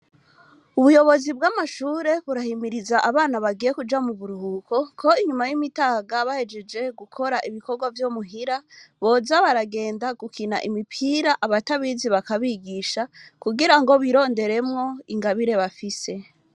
Ubuyobozi bwamashure burahimiriza, abana bagiye kuja muburuhuko ko inyuma yimitaga bahejeje gukora ibikorwa vyomuhira boza baragenda gukina imipira abatabizi bakabigisha kugira bironderemwo ingabire bafise.